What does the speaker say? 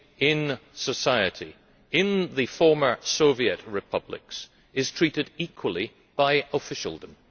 in society in the former Soviet republics is treated equally by officialdom.